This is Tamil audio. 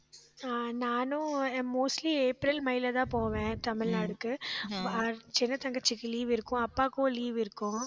அஹ் நானும் mostly ஏப்ரல், மேல தான் போவேன் தமிழ்நாட்டுக்கு அஹ் சின்ன தங்கச்சிக்கு leave இருக்கும் அப்பாக்கும் leave இருக்கும்